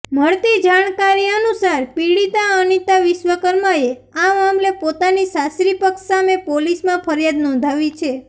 મળતી જાણકારી અનુસાર પીડિતા અનિતા વિશ્વકર્માએ આ મામલે પોતાની સાસરીપક્ષ સામે પોલીસમાં ફરિયાદ નોંધાવી છે